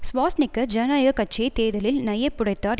Schwarzenegger ஜனநாயக கட்சியை தேர்தலில் நையப் புடைத்தார்